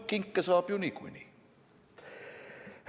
Kinke saab ju niikuinii?